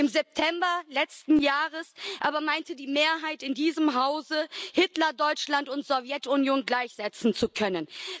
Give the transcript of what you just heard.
Im September letzten Jahres aber meinte die Mehrheit in diesem Hause, Hitlerdeutschland und die Sowjetunion gleichsetzen zu können.